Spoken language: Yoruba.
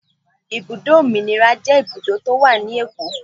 Ibùdó Òmìnira jẹ́ ibùdó tó wà ní Èkó.